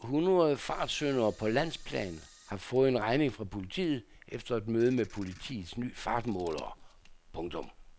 Fem hundrede fartsyndere på landsplan har fået en regning fra politiet efter et møde med politiets nye fartmålere. punktum